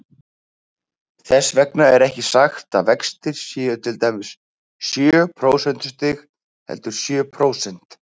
Þess vegna er ekki sagt að vextir séu til dæmis sjö prósentustig, heldur sjö prósent.